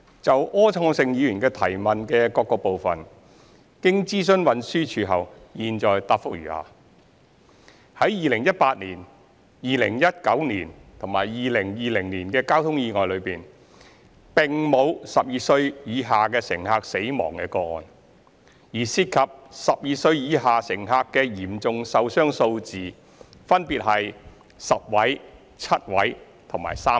就柯創盛議員的質詢的各個部分，經諮詢運輸署後，現答覆如下：一在2018年、2019年及2020年的交通意外中，並沒有12歲以下乘客死亡的個案，而涉及12歲以下乘客的嚴重受傷數字分別為10位、7位及3位。